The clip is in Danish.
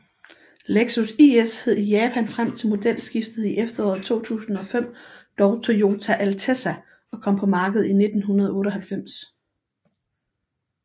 Lexus IS hed i Japan frem til modelskiftet i efteråret 2005 dog Toyota Altezza og kom på markedet i 1998